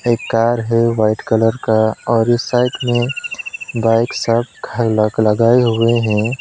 एक कार है white colour का और इस साइड में बाइक साफ लॉक लगाए हुए हैं।